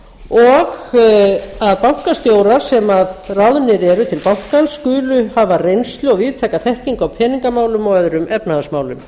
og þeir bankastjórar sem ráðnir eru til bankans skulu hafa reynslu og víðtæka þekkingu á peningamálum og öðrum efnahagsmálum